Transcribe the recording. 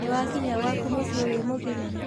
Nĩwakinya gwaku mũciĩ wĩ mũgima?